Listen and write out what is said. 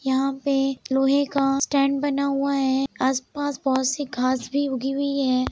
यहाँ पे लोहे का स्टैन्ड बना हुआ है आस-पास बहुत सी घास भी उगी हुई है।